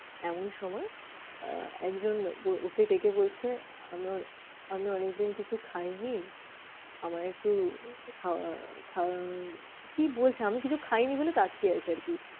এমন সময় আহ একজন ওকে ডেকে বলছে, আমি অনেকদিন কিছু খাই নি। আমাকে একটু খাওয়া খাওয়া কি বলছে? আমি কিছু খাইনি বলে তাকিয়ে আছে আর কি